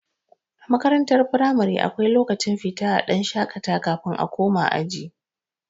A makarantar firamare akwai lokacin fita a dan shakata kafin a koma aji